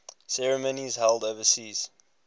ceremonies held overseas